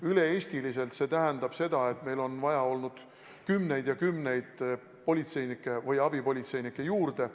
Üle Eesti see tähendab seda, et meil on vaja olnud kümneid ja kümneid politseinikke ja abipolitseinikke juurde.